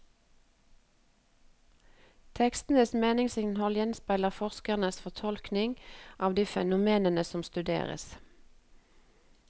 Tekstens meningsinnhold gjenspeiler forskerens fortolkninger av de fenomenene som studeres.